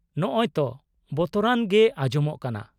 -ᱱᱚᱜᱼᱚᱭ ᱛᱚ ᱵᱚᱛᱚᱨᱟᱱ ᱜᱮ ᱟᱸᱡᱚᱢᱚᱜ ᱠᱟᱱᱟ ᱾